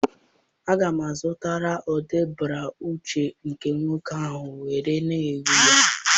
Aga m azụta ụdị bruuchu nke nwoke ahụ nwere na uwe ya